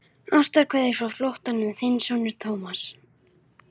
Ástarkveðjur frá flóttanum, þinn sonur Thomas.